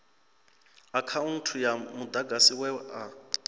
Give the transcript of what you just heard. akhaunthu ya mudagasi we a